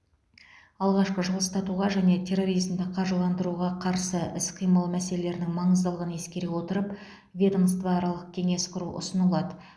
алғашқы жылыстатуға және терроризмді қаржыландыруға қарсы іс қимыл мәселелерінің маңыздылығын ескере отырып ведомствоаралық кеңес құру ұсынылады